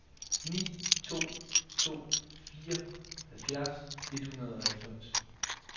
ni to to fire halvfjerds et hundrede og halvfems